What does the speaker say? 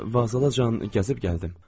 Hə, Vaslavacan gəzib gəldim.